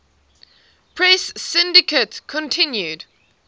press syndicate continued